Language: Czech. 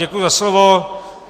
Děkuji za slovo.